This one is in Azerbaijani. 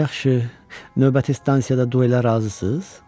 Yaxşı, növbəti stansiyada duelə razısınız?